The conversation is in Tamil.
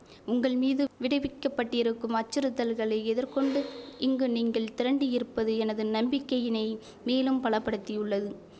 உங்கள் மீது விடிவிக்கப்பட்டிருக்கும் அச்சுறுத்தல்களை எதிர் கொண்டு இங்கு நீங்கள் திரண்டு இருப்பது எனது நம்பிக்கையினை மேலும் பலப்படுத்தியுள்ளது